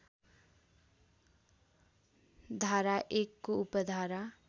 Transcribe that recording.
धारा १ को उपधारा